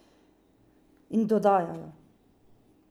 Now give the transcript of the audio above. In dodajajo.